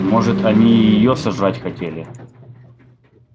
может они и её сожрать хотели